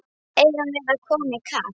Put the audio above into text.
Eigum við að koma í kapp?